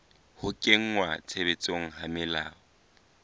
ho kenngwa tshebetsong ha melao